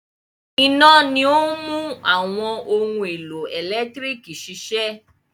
Iná ni ó ń mú àwọn ohun-èlò ẹ̀lẹ́tíríkì ṣiṣẹ́.